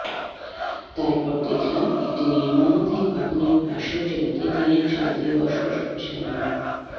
তারপর দেখলাম একটি নির্মাণাধীন ভবনের পাশের জমিতে টিনের চাল দিয়ে বসবাস করছিলেন মো